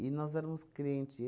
E nós éramos crente.